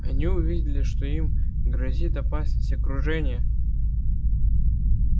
они увидели что им грозит опасность окружения